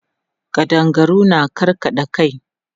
Ƙadangaru na karkaɗa kai.